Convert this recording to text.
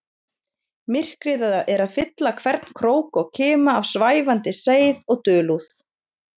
Myrkrið er að fylla hvern krók og kima af svæfandi seið og dulúð.